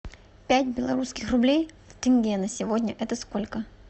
пять белорусских рублей в тенге на сегодня это сколько